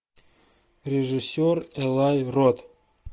режиссер элай рот